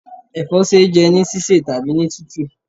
Ẹ̀fọ́ ṣe é jẹ́ ní sísẹ̀ tàbí ní tútù.